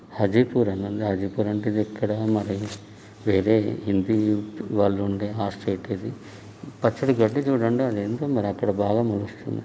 హాజీపూర్ అంటే ఇది ఇక్కడ మరీ వేరే హింది వాళ్ళు ఉండే హాస్టల్ ఐతే ఇది పచ్చటి గడ్డి చూడండి అదేంటో మరీ అక్కడ బాగా మోలుస్తుంది.